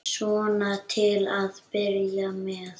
Svona til að byrja með.